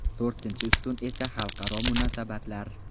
To‘rtinchi ustun esa xalqaro munosabatlar.